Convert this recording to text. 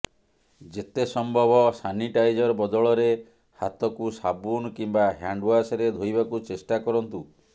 ଯେତେ ସମ୍ଭବ ସାନିଟାଇଜର ବଦଳରେ ହାତକୁ ସାବୁନ କିମ୍ବା ହ୍ୟାଣ୍ଡୱାସରେ ଧୋଇବାକୁ ଚେଷ୍ଟା କରନ୍ତୁ